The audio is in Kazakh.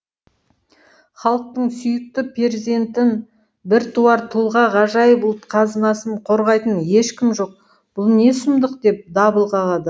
халықтың сүйікті перзентін біртуар тұлға ғажайып ұлт қазынасын қорғайтын ешкім жоқ бұл не сұмдық деп дабыл қағады